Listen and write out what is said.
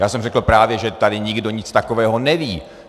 Já jsem řekl, právě že tady nikdo nic takového neví.